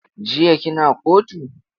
Jiya kina kotu?